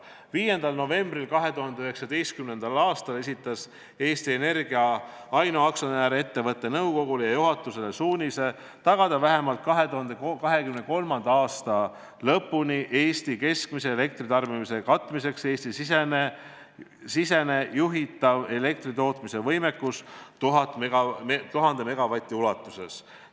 5. novembril 2019. aastal esitas Eesti Energia ainuaktsionär ettevõtte nõukogule ja juhatusele suunise tagada vähemalt 2023. aasta lõpuni Eesti keskmise elektritarbimise katmiseks Eesti-siseselt juhitav elektritootmise võimekus 1000 megavati ulatuses.